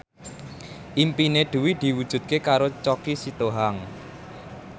impine Dewi diwujudke karo Choky Sitohang